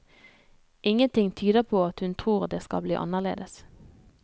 Ingenting tyder på at hun tror det skal bli annerledes.